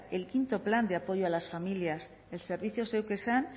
el quinto plan de apoyo a las familias el servicio zeuk esan